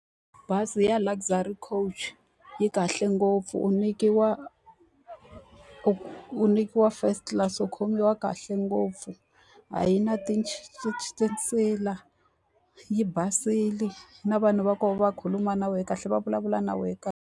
Bazi ra Luxury Coach yi kahle ngopfu, u nyikiwa u u nyikiwa first class, u khomiwa kahle ngopfu. A yi na , yi basile na vanhu va ko va khuluma na wena kahle va vulavula na wena kahle.